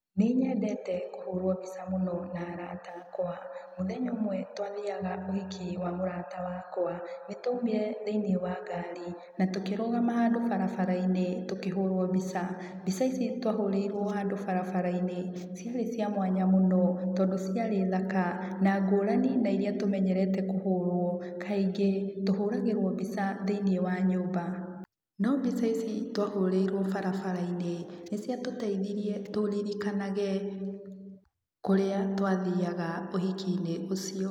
Nĩnyendete kũhũrwo mbica mũno na arata akwa. Mũthenya ũmwe twathiaga ũhiki wa mũrata wakwa, nĩtwaumire thĩinĩ wa ngari natũkĩrũgama handũ barabara-inĩ tũkĩhũrwo mbica, mbica ici twahũrĩirwo handũ barabara-inĩ ciarĩ cia mwanya mũno tondũ ciarĩ thaka na ngũrani na iria tũmenyerete kũhũrwo kaingĩ tũhũragĩrwo mbica thĩiniĩ wa nyũmba. No mbica ici twahũrĩirwo barabara-inĩ nĩciatũtĩithirie tũririkanage kũrĩa twathiaga ũhiki-inĩ ũcio